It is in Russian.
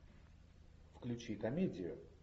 включи комедию